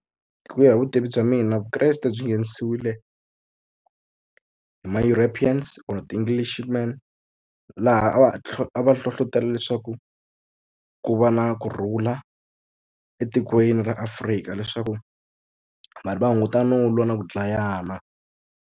Ku ya hi vutivi bya mina vukreste byi nghenisiwile hi ma-Europeans or ti-English man laha a va a va hlohlotelo leswaku ku va na kurhula etikweni ra Afrika leswaku vanhu va hunguta no lwa na ku dlayana.